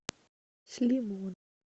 с лимон